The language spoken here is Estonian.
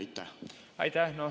Aitäh!